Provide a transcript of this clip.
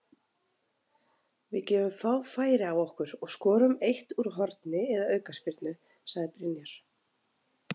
Við gefum fá færi á okkur og skorum eitt úr horni eða aukaspyrnu, sagði Brynjar.